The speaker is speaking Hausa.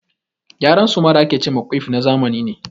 Gyaran suma da a ke ce ma ƙuif na zamani ne.